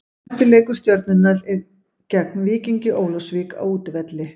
Næsti leikur Stjörnunnar er gegn Víkingi Ólafsvík á útivelli.